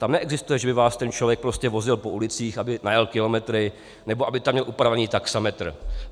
Tam neexistuje, že by vás ten člověk prostě vozil po ulicích, aby najel kilometry nebo aby tam měl upravený taxametr.